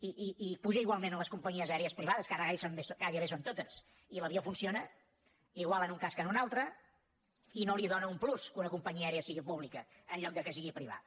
i puja igualment a les companyies aèries privades que ara gairebé ho són totes i l’avió funciona igual en un cas que en l’altre i no li dóna un plus que una companyia aèria sigui pública en lloc que sigui privada